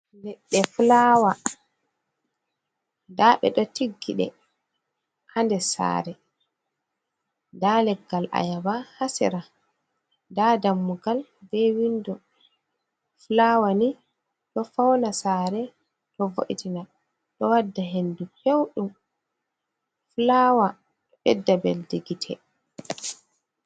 Ɗo fulaawa, nda ɓe ɗo tiggiɗe haa nder saare nda leggal ayaɗba haa sera, nda dammugal be winndo, fulaɗwa ni ɗo fawna saare, ɗo vo’itina, ɗo wadda henndu pewɗum, fulaawa ɗo ɓedda mbelndi gite.